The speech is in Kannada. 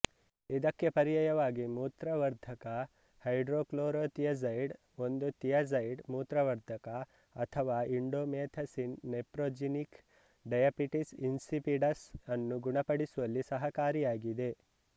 ಇದಕ್ಕೆ ಪರ್ಯಾಯವಾಗಿ ಮೂತ್ರವರ್ಧಕ ಹೈಡ್ರೋಕ್ಲೋರೋತಿಯಾಜೈಡ್ ಒಂದು ತಿಯಾಜೈಡ್ ಮೂತ್ರವರ್ಧಕ ಅಥವಾ ಇಂಡೋಮೆಥಸಿನ್ ನೆಫ್ರೋಜೆನಿಕ್ ಡಯಾಬಿಟಿಸ್ ಇನ್ಸಿಪಿಡಸ್ ಅನ್ನು ಗುಣಪಡಿಸುವಲ್ಲಿ ಸಹಕಾರಿಯಾಗಿದೆ